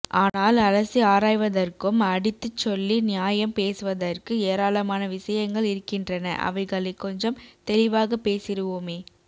ஆனால் அலசி ஆராய்வதற்க்கும் அடித்துச் சொல்லி நியாயம் பேசுவதற்க்கு எராளமான விசயங்கள் இருக்கின்றன அவைகளை கொஞ்சம் தெளிவாக பேசிடுவோமே